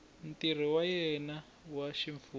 ntirho wa yena wa ximfumo